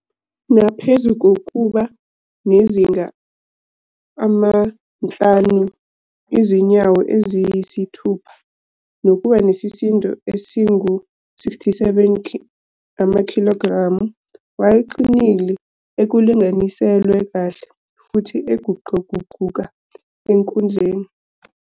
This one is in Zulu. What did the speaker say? Naphezu kokuba nezinga lama-5 izinyawo eziyisi-7 nokuba nesisindo esingu-67 amakhilogremu, wayeqinile, ekulinganiselwe kahle, futhi eguquguquka enkundleni.